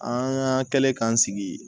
An kɛlen k'an sigi